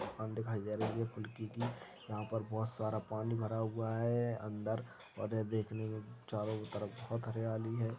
दुकान दिखाई दे रही है फुलकी की यहाँ पर बहोत सारा पानी भरा हुआ है अंदर और ये देखने मैं चारो तरफ बहोत हरियाली है।